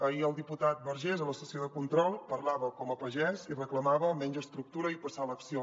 ahir el diputat vergés a la sessió de control parlava com a pagès i reclamava menys estructura i passar a l’acció